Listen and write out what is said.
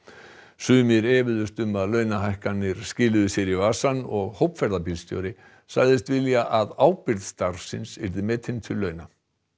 sumir efuðust um að launahækkanirnar skiluðu sér í vasann og sagðist vilja að ábyrgð starfsins væri metin til launa